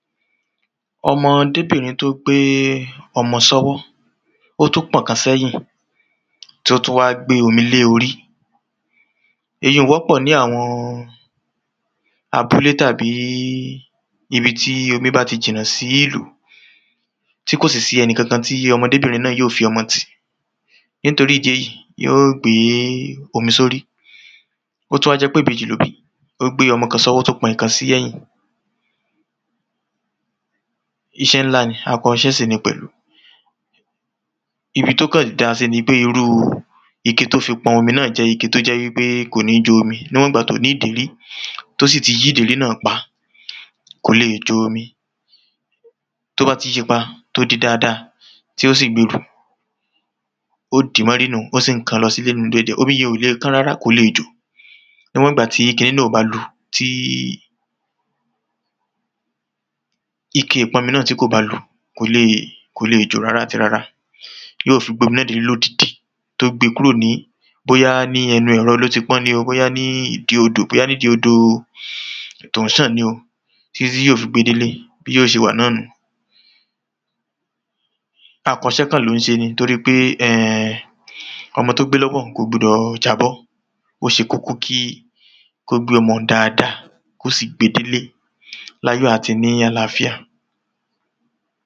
ọmọọdebìrin tó gbé é ọmọ sọ́wọ́ ótún pọ̀n kan sẹ́yìn tó tún wá gbe omi lé orí èyi ún wọ́pọ̀ ní àwọn abúlé tàbíí ibi tíi omi báti jìnà sí ìlú tí kòsì sí ẹni kankan tí ọmọdébìnrin náà yíò fi ọmọ tì nítorí ìdí èyí yíò gbé é omi sórí ótún wájẹ́pé ìbejì lóbí ó gbé ọmọ kan sọ́wọ́ ótún pọ ìkan sí ẹ̀yìn iṣẹ́ ńlá ni àkọ iṣẹ́ sìni pẹ̀lú ibi tó kàn dáasí nipé irúu ike tó fi pọn omi náà jẹ́ ike tó jẹ́ wípé kòní jo omi níwọ̀n ìgbà tóní ìdèrí tósì ti yí ìdérí náà pa kò le è jo omi tóbá ti yíipa tó de dáadáa tósì gberù ó dìí mọ́rí nùhun ón kàn-ón lọsílé nùhun díèdíè omi yen òle kán rárá kòle jò níwọ̀n ìgbà tí kiní náà òbá lu tíí ike ìpọmi náà tí kòbá lu kòleè kòle jò rárá àti rárá yíò fi gbé omi náà délé lódidi tó gbe kórò ní bóyá ẹnu ẹ̀ro lóti pọ́n ni o bóyá ní ìdí odò bóyá ní ìdí odòo tón ṣàn ni o títí yíò fi gbe délé bí yíò ṣe wà nùhun akọ iṣẹ́ kàn ló ún ṣe ni toríipé ẹn ẹn ọmọ tógbé lọ́wọ́ un kò gbudọ̀ jábọ́ óṣe kókó kí kógbé ọmọ un dáadáa kósì gbe délé láyọ̀ àti níí àláfíà